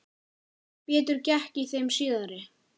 Betur gekk í þeim síðari.